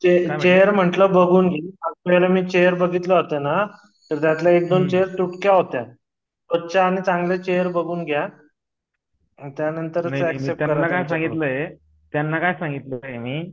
ते चेर म्हंटल बघून घे चेर बघितल्या होत्याना तर त्यातल्या एक दोन चेर तुटक्या होत्या चांगल्या चेर बघून घ्या त्यानंतर त्याला काय सांगितलं मी